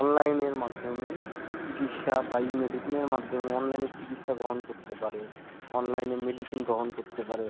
online মাধ্যমে ইচিকিসা বা E medicine মাধ্যমেই online চিকিৎসাগ্রহণ করতে পারে online medicine গ্রহণ করতে পারে